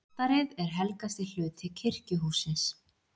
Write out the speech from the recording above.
Altarið er helgasti hluti kirkjuhússins.